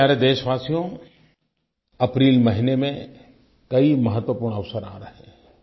मेरे प्यारे देशवासियो अप्रैल महीने में कई महत्वपूर्ण अवसर आ रहे हैं